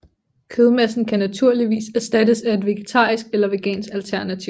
Kødmassen kan naturligvis erstattes af et vegetarisk eller vegansk alternativ